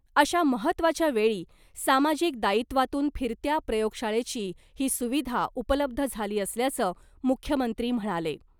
अशा महत्वाच्या वेळी सामाजिक दायित्वातून फिरत्या प्रयोग शाळेची ही सुविधा उपलब्ध झाली असल्याचं मुख्यमंत्री म्हणाले .